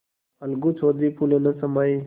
अलगू चौधरी फूले न समाये